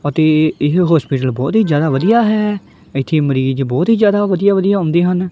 ਅਤੇ ਏਹ ਹੌਸਪੀਟਲ ਬੋਹਤ ਹੀ ਜਿਆਦਾ ਵਧੀਆ ਹੈ ਏੱਥੇ ਮਰੀਜ ਬੋਹਤ ਹੀ ਜਿਆਦਾ ਵਧੀਆ ਵਧੀਆ ਹੁੰਦੀ ਹਨ।